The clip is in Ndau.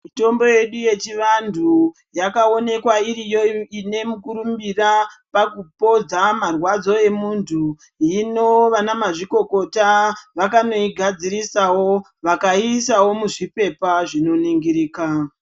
Mitombo yedu yechivantu yakaonekwa iriyo ine mukurumbira pakupodza marwadzo evantu. Hino ana mazvikokota vakanoigadzirisawo, vakaiisawo muzviphepha zvinoningirika.